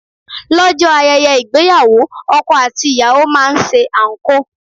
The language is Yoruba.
Lọ́jọ́ ayẹyẹ ìgbéyàwó, ọkọ àti ìyàwó máa ń ṣe anko.